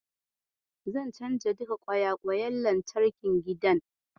Zan canza duka kwayayen wutar lantarkin gidan.